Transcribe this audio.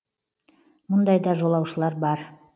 мұндай да жолаушылар бар